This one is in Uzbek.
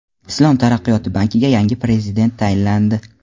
Islom taraqqiyot bankiga yangi prezident tayinlandi.